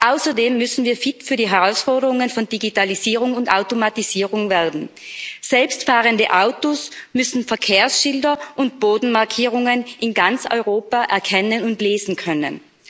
Außerdem müssen wir fit für die Herausforderungen von Digitalisierung und Automatisierung werden. Selbstfahrende Autos müssen Verkehrsschilder und Bodenmarkierungen in ganz Europa erkennen und lesen können.